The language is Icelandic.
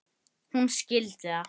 Hún skildi það.